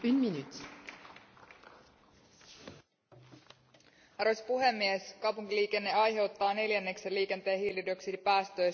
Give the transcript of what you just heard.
Arvoisa puhemies, kaupunkiliikenne aiheuttaa neljänneksen liikenteen hiilidioksidipäästöistä ja jopa seitsemänkymmentä prosenttia liikenteen muista päästöistä.